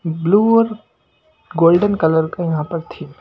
Blue और golden colour का यहां पर थी।